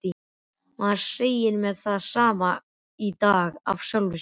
Maður segir mér það sama í dag af sjálfum sér.